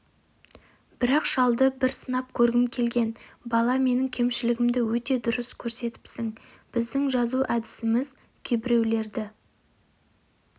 бірақ шалды бір сынап көргім келген бала менің кемшілігімді өте дұрыс көрсетіпсің біздің жазу әдісіміз кейбіреулерді